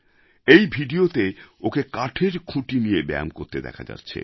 এই ভিডিওতে ওকে কাঠের খুঁটি নিয়ে ব্যায়াম করতে দেখা যাচ্ছে